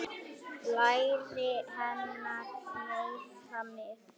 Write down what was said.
Læri hennar meiða mig.